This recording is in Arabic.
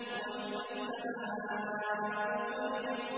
وَإِذَا السَّمَاءُ فُرِجَتْ